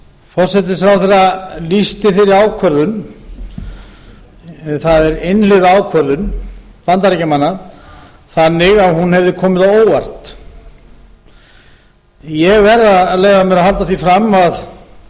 forsætisráðherra lýsti þeirri ákvörðun það er einhliða ákvörðun bandaríkjamanna þannig að hún hefði komið á óvart ég leyfi mér að halda því fram